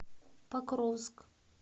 покровск